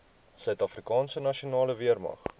suidafrikaanse nasionale weermag